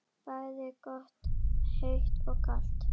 Bæði gott heitt og kalt.